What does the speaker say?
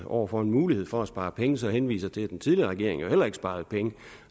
over for en mulighed for at spare penge så henviser til at den tidligere regering jo heller ikke sparede penge